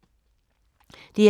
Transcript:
DR1